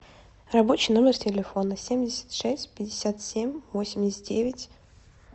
рабочий номер телефона семьдесят шесть пятьдесят семь восемьдесят девять